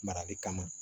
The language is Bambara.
Marali kama